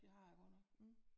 Det har jeg godt nok